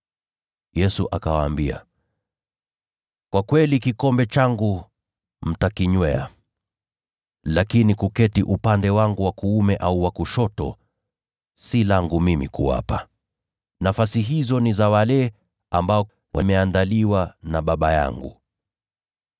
Yesu akawaambia, “Kwa kweli kikombe changu mtakinywea, lakini kuketi upande wangu wa kuume au wa kushoto si langu mimi kuwapa. Nafasi hizo ni za wale ambao wameandaliwa na Baba yangu.”